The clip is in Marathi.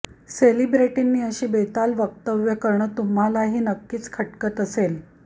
सेलिब्रिटींनी अशी बेताल वक्तव्य करणं तुम्हालाही नक्कीच खटकत असेल